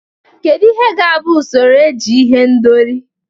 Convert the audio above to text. Kedu ihe ga-abụ usoro eji ihendori?